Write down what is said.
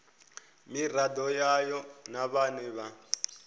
miraḓo yayo na vhane vha